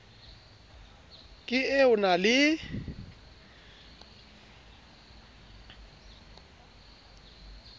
ke e o na le